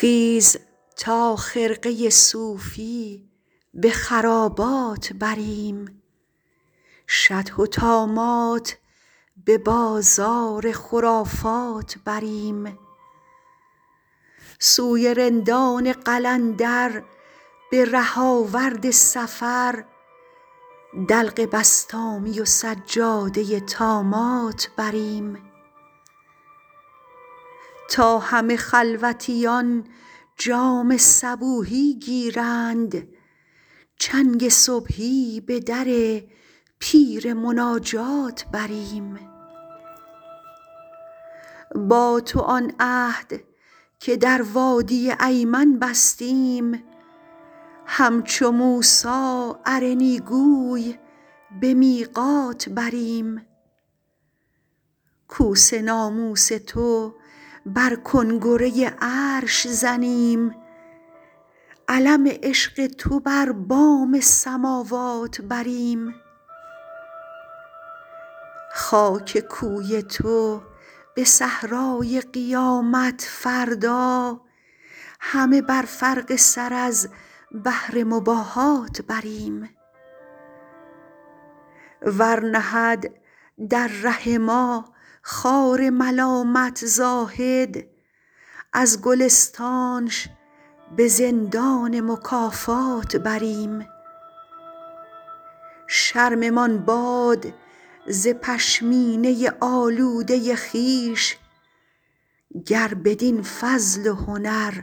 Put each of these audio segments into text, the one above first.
خیز تا خرقه صوفی به خرابات بریم شطح و طامات به بازار خرافات بریم سوی رندان قلندر به ره آورد سفر دلق بسطامی و سجاده طامات بریم تا همه خلوتیان جام صبوحی گیرند چنگ صبحی به در پیر مناجات بریم با تو آن عهد که در وادی ایمن بستیم همچو موسی ارنی گوی به میقات بریم کوس ناموس تو بر کنگره عرش زنیم علم عشق تو بر بام سماوات بریم خاک کوی تو به صحرای قیامت فردا همه بر فرق سر از بهر مباهات بریم ور نهد در ره ما خار ملامت زاهد از گلستانش به زندان مکافات بریم شرممان باد ز پشمینه آلوده خویش گر بدین فضل و هنر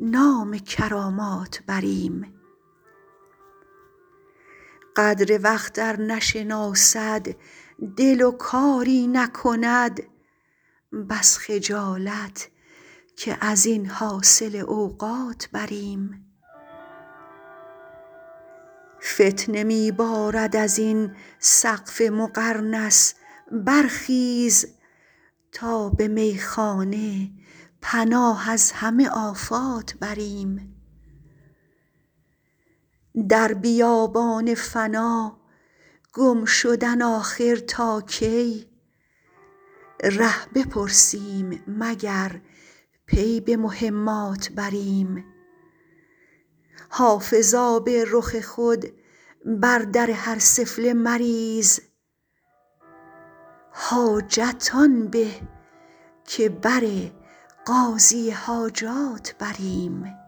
نام کرامات بریم قدر وقت ار نشناسد دل و کاری نکند بس خجالت که از این حاصل اوقات بریم فتنه می بارد از این سقف مقرنس برخیز تا به میخانه پناه از همه آفات بریم در بیابان فنا گم شدن آخر تا کی ره بپرسیم مگر پی به مهمات بریم حافظ آب رخ خود بر در هر سفله مریز حاجت آن به که بر قاضی حاجات بریم